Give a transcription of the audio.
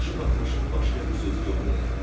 Başı batmışın başqa bir sözü yoxdur elə bil.